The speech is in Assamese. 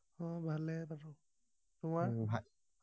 ভালেই আৰু তোমাৰ